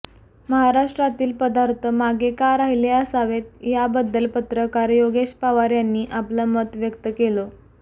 महाराष्ट्रातील पदार्थ मागे का राहिले असावेत याबद्दल पत्रकार योगेश पवार यांनी आपलं मत व्यक्त केलं